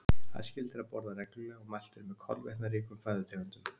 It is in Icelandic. Æskilegt er að borða reglulega og mælt er með kolvetnaríkum fæðutegundum.